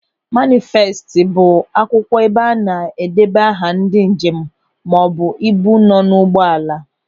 Manịfestị bụ akwụkwọ ebe a na-edeba aha ndị njem maọbụ ibu nọ n'ụgbọala.